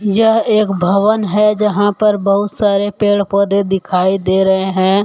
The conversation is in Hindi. यह एक भवन है जहां पर बहुत सारे पेड़ पौधे दिखाई दे रहे हैं।